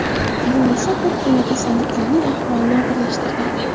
Bu esa ko‘pgina kasallarning ahvolini og‘irlashtirgan.